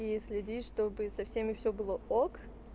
и следить чтобы со всеми всё было ок